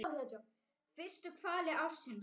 Fyrstu hvali ársins?